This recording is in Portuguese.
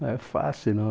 Não é fácil, não.